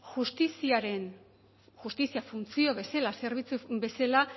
justiziaren justizia funtzio bezala zerbitzu bezala